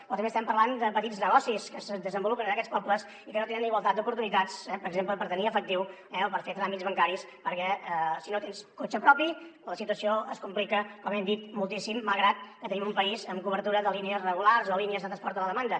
però també estem parlant de petits negocis que es desenvolupen en aquests pobles i que no tenen igualtat d’oportunitats per exemple per tenir efectiu eh o per fer tràmits bancaris perquè si no tens cotxe propi la situació es complica com hem dit moltíssim malgrat que tenim un país amb cobertura de línies regulars o línies de transport a la demanda